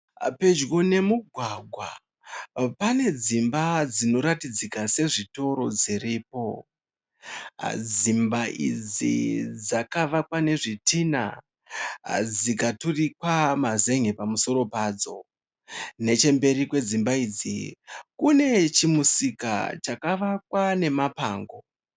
Pedyo nemugwagwa pane dzimba dzinoratidzika sezvitoro dziripo. Dzimba idzi dzakavakwa nezvitina dzikaturikwa mazenge pamusoro padzo. Nechemberi kwedzimba idzi kune chimusika chakavakwa nemapango.